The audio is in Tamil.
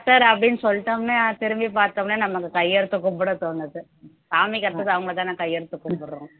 doctor அப்படின்னு சொல்லிட்டோம்ன்னா திரும்பிப் பார்த்தோம்ன்னா நம்ம அந்த கையெடுத்து கும்பிட தோணுது சாமிக்கு அடுத்தது அவங்கதானே கையெடுத்து கும்பிடுறோம்